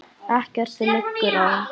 Ekkert liggur á.